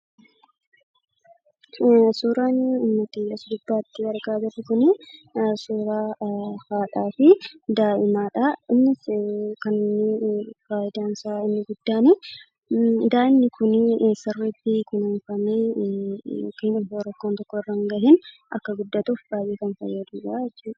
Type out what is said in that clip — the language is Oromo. Suuraan nuti as gubbaatti argaa jirru suuraa haadhaa fi daa'imadhaa. Innis faayidaansaa inni guddaan daa'imni sirriitti kunuunfamee miidhaan tokko osoo irra hin gahiin akka guddatuuf kan baay'ee fayyadudha jechuudha.